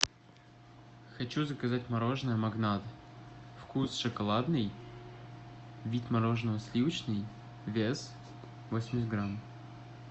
хочу заказать мороженое магнат вкус шоколадный вид мороженого сливочный вес восемьдесят грамм